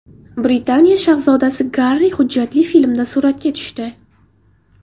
Britaniya shahzodasi Garri hujjatli filmda suratga tushdi.